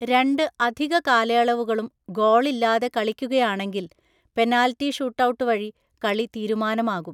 രണ്ട് അധിക കാലയളവുകളും ഗോൾ ഇല്ലാതെ കളിക്കുകയാണെങ്കിൽ, പെനാൽറ്റി ഷൂട്ടൌട്ട് വഴി കളി തീരുമാനമാകും.